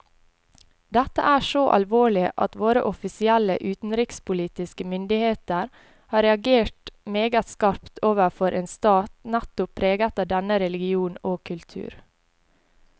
Dette er så alvorlig at våre offisielle utenrikspolitiske myndigheter har reagert meget skarpt overfor en stat nettopp preget av denne religion og kultur.